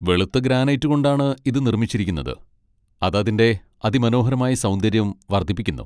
വെളുത്ത ഗ്രാനൈറ്റ് കൊണ്ടാണ് ഇത് നിർമ്മിച്ചിരിക്കുന്നത്, അത് അതിന്റെ അതിമനോഹരമായ സൗന്ദര്യം വർദ്ധിപ്പിക്കുന്നു.